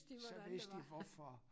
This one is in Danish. Så vidste de hvorfor